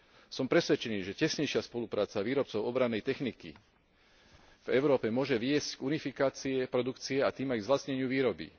Som presvedčený, že tesnejšia spolupráca výrobcov obrannej techniky v Európe môže viesť k unifikácii produkcie a tým aj k zlacneniu výroby.